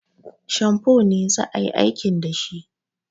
Shamfo ne za a yi aikin da shi